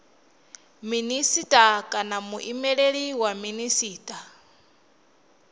minisita kana muimeleli wa minisita